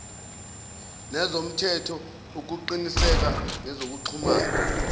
nezomthetho ukuqiniseka ngezokuxhumana